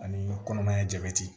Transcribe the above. Ani kɔnɔmaya jabɛti